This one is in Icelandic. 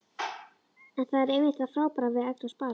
En það er einmitt það frábæra við að eignast barn.